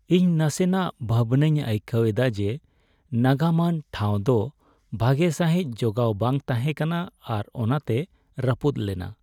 ᱤᱧ ᱱᱟᱥᱮᱱᱟᱜ ᱵᱷᱟᱵᱽᱱᱟᱣ ᱟᱹᱭᱠᱟᱹᱣ ᱮᱫᱟ ᱡᱮ ᱱᱟᱜᱟᱢᱟᱱ ᱴᱷᱟᱶ ᱫᱚ ᱵᱷᱟᱜᱮ ᱥᱟᱹᱦᱤᱡ ᱡᱚᱜᱟᱣ ᱵᱟᱝ ᱛᱟᱦᱮᱸ ᱠᱟᱱᱟ ᱟᱨ ᱚᱱᱟᱛᱮ ᱨᱟᱹᱯᱩᱫᱽ ᱞᱮᱱᱟ ᱾